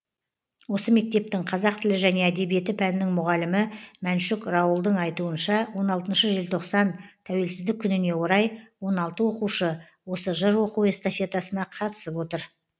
осы мектептің қазақ тілі және әдебиеті пәнінің мұғалімі мәншүк раулдың айтуынша он алтыншы желтоқсан тәуелсіздік күніне орай он алты оқушы осы жыр оқу эстафетасына қатысып отыр